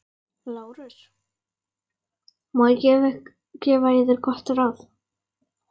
LÁRUS: Má ég gefa yður gott ráð?